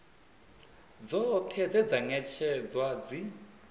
dzoṱhe dze dza ṅetshedzwa dzi